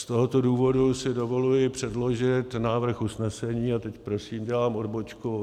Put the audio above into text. Z tohoto důvodu si dovoluji předložit návrh usnesení - a teď prosím dělám odbočku.